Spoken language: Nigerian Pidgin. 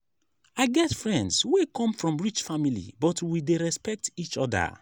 i get friends wey come from rich family but we dey respect each oda.